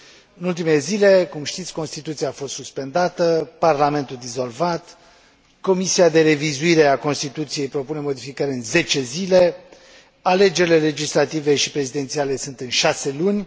În ultimele zile, cum știți, constituția a fost suspendată, parlamentul dizolvat, comisia de revizuire a constituției propune modificări în 10 zile, alegerile legislative și prezidențiale sunt în șase luni.